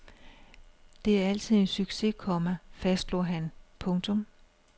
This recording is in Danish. Det er altid en succes, komma fastslog han. punktum